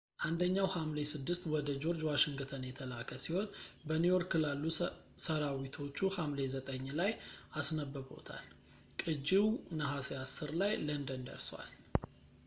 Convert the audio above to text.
አንደኛው ሐምሌ 6 ወደ ጆርጅ ዋሽንግተን የተላከ ሲሆን በኒውዮርክ ላሉ ሰራዊቶቹ ሐምሌ 9 ላይ አስነብቦታል ቅጂው ነሐሴ 10 ላይ ለንደን ደርሷል